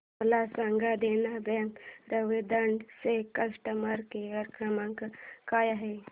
मला सांगा देना बँक रेवदंडा चा कस्टमर केअर क्रमांक काय आहे